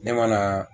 Ne ma na